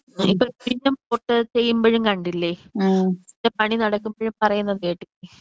*Not clear* ചെയുമ്പയും കണ്ടില്ലേ ഒരു പണി നടക്കുമ്പഴും പറയുന്നത് കേട്ടില്ലേ.